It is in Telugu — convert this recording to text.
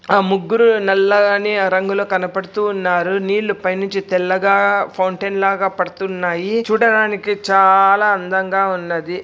ఆ ముగ్గురు నల్లని రంగులో కనపడుతూ ఉన్నారు. నీళ్లు పై నుంచి తెల్లగా ఫౌంటెన్ లాగా పడుతున్నాయి. చూడటానికి చాలా అందంగా ఉన్నది.